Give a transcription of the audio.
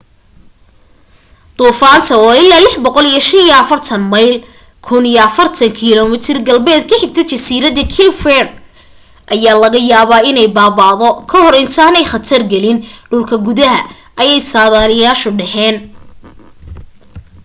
duufaanta oo ilaa 645 mayl 1040 km galbeed ka xigta jasiiradaha cape verde ayaa laga yaabaa inay baaba'do ka hor intaanay khatargelin dhulka gudaha ayay sadaaliyaashu dhaheen